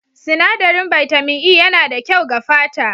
Sinadarin bitamin E yana da kyau ga fata.